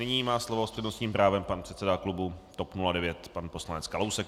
Nyní má slovo s přednostním právem pan předseda klubu TOP 09 pan poslanec Kalousek.